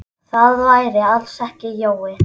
Það væri alls ekki Jói.